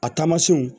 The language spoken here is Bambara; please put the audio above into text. A taamasiyɛnw